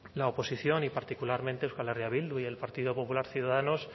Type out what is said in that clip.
la oposición y particularmente euskal herria bildu y el partido popular ciudadanos